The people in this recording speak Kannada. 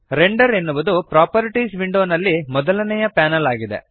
ರೆಂಡರ್ ಎನ್ನುವುದು ಪ್ರಾಪರ್ಟೀಸ್ ವಿಂಡೋನಲ್ಲಿ ಮೊದಲನೆಯ ಪ್ಯಾನಲ್ ಆಗಿದೆ